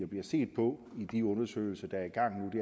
bliver set på i de undersøgelser